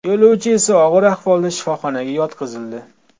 Yo‘lovchi esa og‘ir ahvolda shifoxonaga yotqizildi.